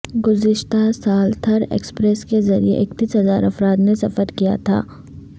گزشتہ سال تھر ایکسپریس کے ذریعہ اکتیس ہزار افراد نے سفر کیا تھا